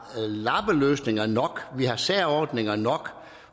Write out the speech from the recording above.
lappeløsninger nok vi har særordninger nok